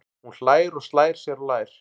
Hún hlær og slær sér á lær.